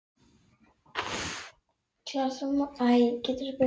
Hún lánaði mér þessa bók.